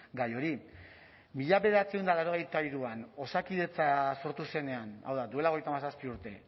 gai hori mila bederatziehun eta laurogeita hiruan osakidetza sortu zenean hau da duela hogeita hamazazpi urte